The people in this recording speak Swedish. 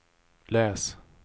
läs